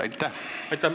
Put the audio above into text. Aitäh!